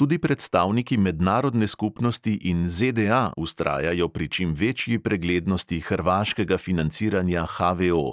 Tudi predstavniki mednarodne skupnosti in ZDA vztrajajo pri čim večji preglednosti hrvaškega financiranja HVO,